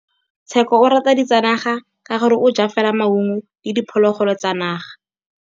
Tshekô o rata ditsanaga ka gore o ja fela maungo le diphologolo tsa naga.